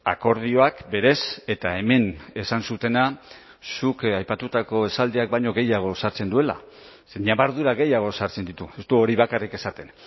akordioak berez eta hemen esan zutena zuk aipatutako esaldiak baino gehiago osatzen duela ze ñabardura gehiago sartzen ditu ez du hori bakarrik esaten